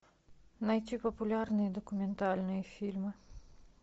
найти популярные документальные фильмы